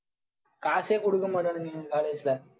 காசே கொடுக்க மாட்டானுங்க எங்க college ல.